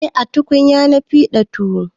A tukunya na fiɗa tuwo